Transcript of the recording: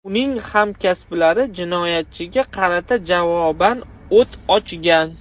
Uning hamkasblari jinoyatchiga qarata javoban o‘t ochgan.